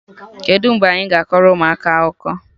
Kedụ mgbe anyị ga-akọrọ ụmụaka akụkọ?